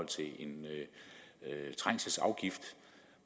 til en trængselsafgift